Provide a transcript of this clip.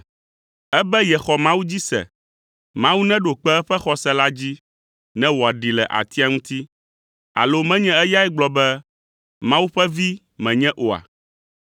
Ebe yexɔ Mawu dzi se; Mawu neɖo kpe eƒe xɔse la dzi ne wòaɖee le atia ŋuti. Alo menye eyae gblɔ be, ‘Mawu ƒe Vi menye’ oa?”